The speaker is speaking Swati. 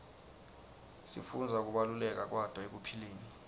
sifundza kubaluleka kwato ekuphileni